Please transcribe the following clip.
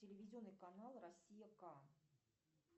телевизионный канал россия к